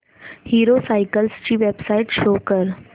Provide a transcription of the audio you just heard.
hero cycles ची website show कर